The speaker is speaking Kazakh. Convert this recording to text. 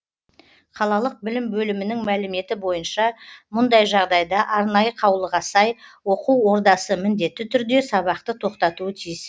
қалалық білім бөлімінің мәліметі бойынша мұндай жағдайда арнайы қаулыға сай оқу ордасы міндетті түрде сабақты тоқтатуы тиіс